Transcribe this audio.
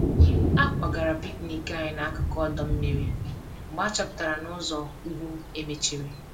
A kwagara picnic anyị n'akụkụ ọdọ mmiri mgbe achọpụtara na ụzọ ùgwù e mechiri